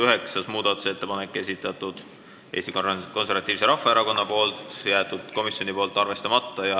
Üheksanda muudatusettepaneku on esitanud Eesti Konservatiivse Rahvaerakonna fraktsioon, komisjon on jätnud arvestamata.